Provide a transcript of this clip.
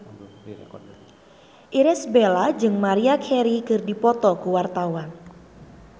Irish Bella jeung Maria Carey keur dipoto ku wartawan